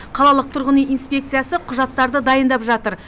қалалық тұрғын үй инспекциясы құжаттарды дайындап жатыр